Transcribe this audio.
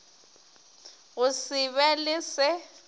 go se be le se